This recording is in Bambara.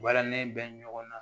Walanin bɛ ɲɔgɔn na